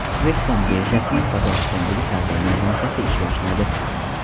O‘zbekiston birjasining Qozog‘istondagi savdo maydonchasi ish boshladi.